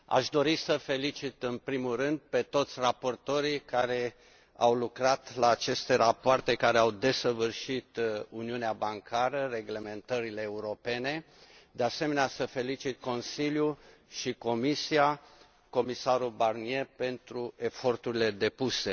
Doamnă Președinte, aș dori să felicit, în primul rând, pe toți raportorii care au lucrat la aceste rapoarte care au desăvârșit Uniunea bancară, reglementările europene, de asemenea, să felicit Consiliul și Comisia, comisarul Barnier pentru eforturile depuse.